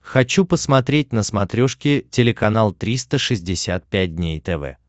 хочу посмотреть на смотрешке телеканал триста шестьдесят пять дней тв